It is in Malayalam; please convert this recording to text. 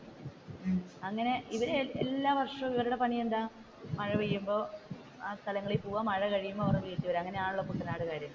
അങ്ങനെ ഇവർ എല്ലാവർഷവും ഇവരുടെ പണിയെന്താണ് മഴ പെയ്യുമ്പോൾ ആ സ്ഥലങ്ങളിൽ പോകുവാ മഴ കഴിയുമ്പോൾ അവരുടെ വീട്ടിൽ വരുക അങ്ങനെയാണല്ലോ കുട്ടനാടുക്കാർ.